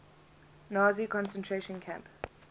nazi concentration camp